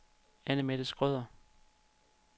Annemette Schrøder